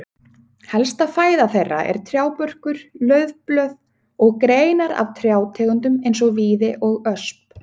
Helsta fæða þeirra er trjábörkur, laufblöð og greinar af trjátegundum eins og víði og ösp.